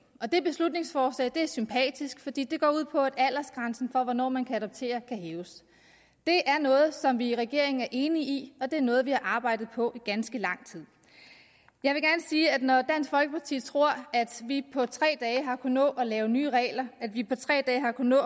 og det beslutningsforslag er sympatisk fordi det går ud på at aldersgrænsen for hvornår man kan adoptere kan hæves det er noget som vi i regeringen er enige i og det er noget vi har arbejdet på i ganske lang tid når dansk folkeparti tror at vi på tre dage har kunnet nå at lave nye regler at vi på tre dage har kunnet